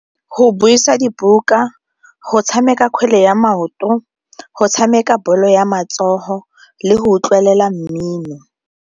Go buisa dibuka, go tshameka kgwele ya maoto, go tshameka bolo ya matsogo le go utlwelela mmino.